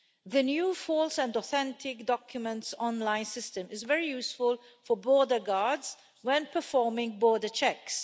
The new false and authentic documents online system is very useful for border guards when performing border checks.